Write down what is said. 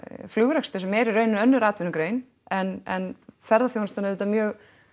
flugrekstur sem er í raun önnur atvinnugrein en ferðaþjónustan auðvitað mjög